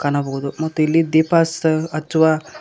ಕಾಣಬೋದು ಮತ್ತು ಇಲ್ಲಿ ದೀಪ ಹಚ್ಚತ ಹಚ್ಚುವ--